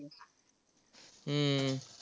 हम्म